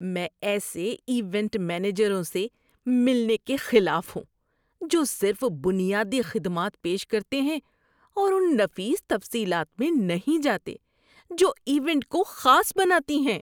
میں ایسے ایونٹ مینیجروں سے ملنے کے خلاف ہوں جو صرف بنیادی خدمات پیش کرتے ہیں اور ان نفیس تفصیلات میں نہیں جاتے جو ایونٹ کو خاص بناتی ہیں۔